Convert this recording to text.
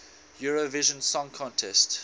eurovision song contest